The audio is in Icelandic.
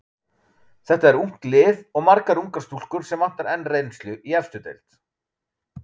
Þetta er ungt lið og margar ungar stúlkur sem vantar enn reynslu í efstu deild.